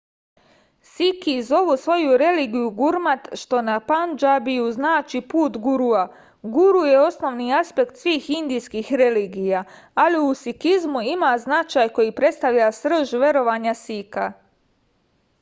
siki zovu svoju religiju gurmat što na pandžabiju znači put gurua guru je osnovni aspekat svih indijskih religija ali u sikizmu ima značaj koji predstavlja srž verovanja sika